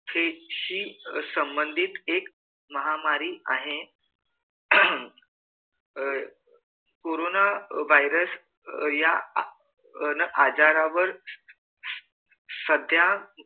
त्याचे संबंधीत एक महामारी आहे आह अह कोरोना virus या अह आजारावर सध्या